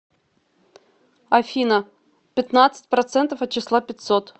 афина пятнадцать процентов от числа пятьсот